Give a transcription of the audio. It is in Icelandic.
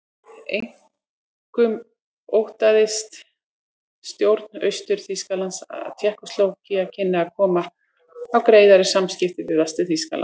Einkum óttaðist stjórn Austur-Þýskalands að Tékkóslóvakía kynni að koma á greiðari samskiptum við Vestur-Þýskaland.